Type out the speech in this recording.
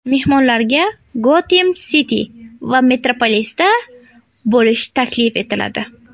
Mehmonlarga Gotem Siti va Metropolisda bo‘lish taklif etiladi.